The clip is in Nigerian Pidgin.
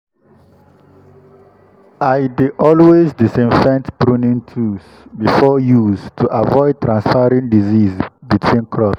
i dey always disinfect pruning tools before use to avoid transferring disease between crops.